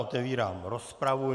Otevírám rozpravu.